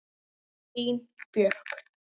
Þín Björk.